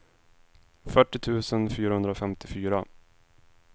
fyrtio tusen fyrahundrafemtiofyra